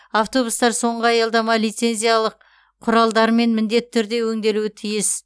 автобустар соңғы аялдамада лицензиялық құралдармен міндетті түрде өңделуі тиіс